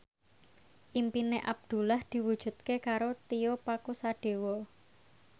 impine Abdullah diwujudke karo Tio Pakusadewo